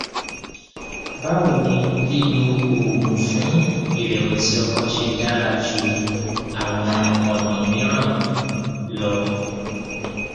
báwo ni lílo oògùn fún ìrẹwẹsì ọkàn ṣe dára ju àwọn ọnà mìíràn lọ